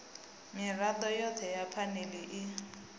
mirado yothe ya phanele i